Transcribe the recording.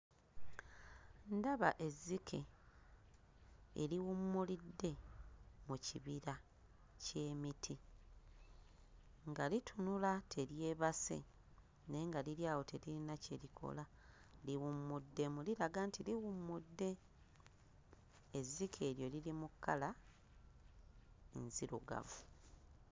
Ndaba ezzike eriwummulidde mu kibira ky'emiti nga litunula teryebase naye nga liri awo teririna kye likola liwummuddemu liraga nti liwummudde. Ezzike eryo liri mu kkala nzirugavu.